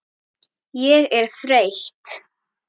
Ég er þreytt.